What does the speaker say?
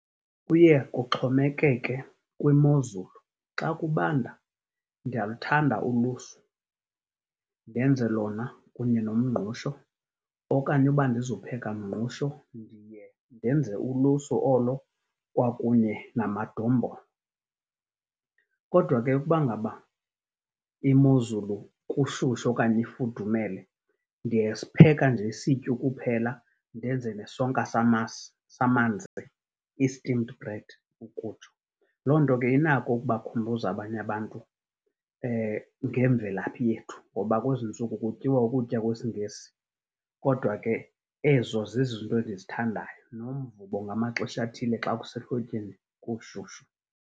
Kuye kuxhomekeke kwimozulu. Xa kubanda ndiyaluthanda ulusu, ndenze lona kunye nomngqusho, okanye uba andizupheka mngqusho ndiye ndenze ulusu olo kwakunye namadombolo. Kodwa ke ukuba ngaba imozulu kushushu okanye ifudumele, ndiyasipheka nje isityu kuphela ndenze nesonka samasi, samanzi, i-steamed bread ukutsho. Loo nto ke inako ukubakhumbuza abanye abantu ngemvelaphi yethu, ngoba kwezi ntsuku kutyiwa ukutya kwesiNgesi. Kodwa ke ezo zizinto endizithandayo, nomvubo ngamaxesha athile xa kusehlotyeni kushushu.